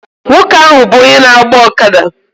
Nwoke ahụ bụ onye na-agba ọkada